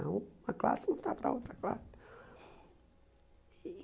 Era uma classe mostrar para a outra classe.